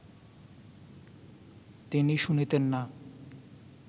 তিনি শুনিতেন না